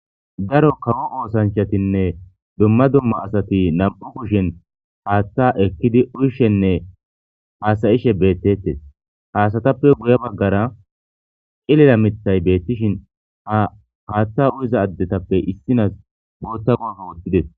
daro kawo oosanchatinne dumma dumma asati nam7u kushen haatta ekkidi uyshenne haasayishe beettettes haasatappe guye baggara qilila mittay beettishin a haatta uyiza addetappe issinas bootta gooso wottides